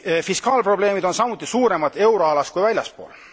Fiskaalprobleemid on samuti suuremad euroalas kui väljaspool.